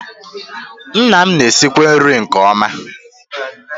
Nna m na-esikwa nri nke ọma